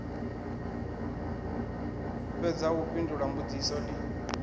fhedza u fhindula mbudziso ni